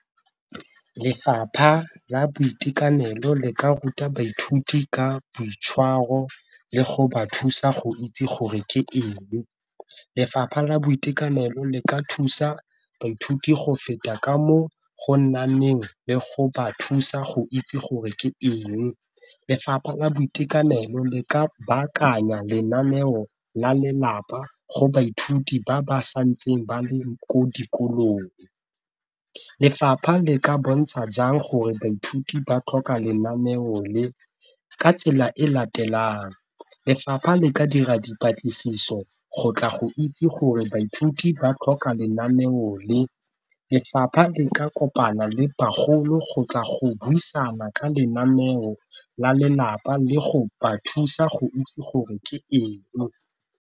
Lefapha la boitekanelo le ka ruta baithuti ka boitshwaro le go ba thusa go itse gore ke eng, lefapha la boitekanelo le ka thusa baithuti go feta ka mo go le go ba thusa go itse gore ke eng, lefapha la boitekanelo le ka baakanya lenaneo la lelapa go baithuti ba ba santse ba le ko dikolong. Lefapha le ka bontsha jang gore baithuti ba tlhoka lenaneo le ka tsela e latelang lefapha le ka dira dipatlisiso go tla go itse gore baithuti ba tlhoka lenaneo le, lefapha le ka kopana le bagolo go tla go buisana ka lenaneo la lelapa le go ba thusa go itse gore ke eng.